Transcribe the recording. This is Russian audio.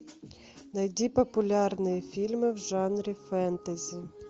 найди популярные фильмы в жанре фэнтези